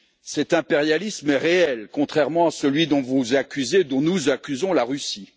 Cet impérialisme est réel, contrairement à celui dont vous accusez dont nous accusons la Russie.